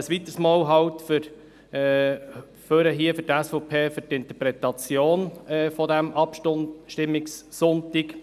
Ich trete ein weiteres Mal für die SVP ans Rednerpult wegen der Interpretation dieses Abstimmungssonntags.